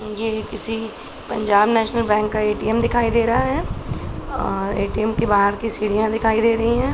ये किसी Punjab national bank का ए.टी.म. दिखाई दे रहा है और ए.टी.म. के बाहर की सीढ़ियाँ दिखाई दे रही हैं।